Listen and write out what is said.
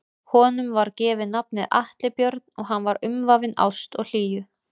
Honum var gefið nafnið Atli Björn og hann var umvafinn ást og hlýju.